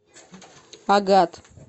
агат